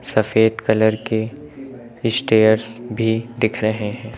सफेद कलर के स्टेयर्स भी दिख रहे हैं।